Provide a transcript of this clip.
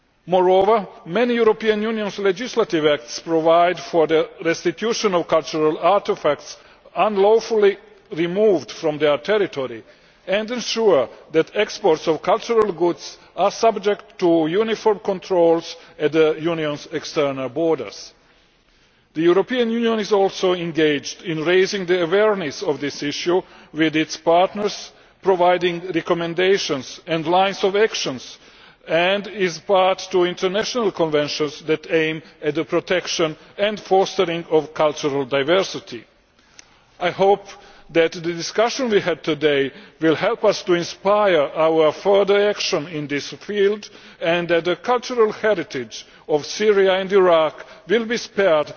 Moreover, many European Union legislative acts provide for the restitution of cultural artefacts unlawfully removed from their territory and ensure that exports of cultural goods are subject to uniform controls at the European Union's external borders. The European Union is also engaged in raising awareness of this issue with its partners, providing recommendations and lines of action, and is party to international conventions that aim at the protection and fostering of cultural diversity. I hope that the discussion we had today will help inspire our further action in this field and that the cultural heritage of Syria and Iraq will be spared